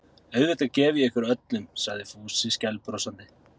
Auðvitað gef ég ykkur öllum sagði Fúsi skælbrosandi.